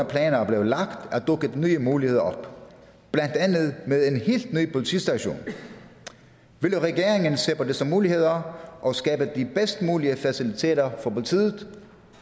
planer blev lagt er dukket nye muligheder op blandt andet med en helt ny politistation vil regeringen se på disse muligheder og skabe de bedst mulige faciliteter for politiet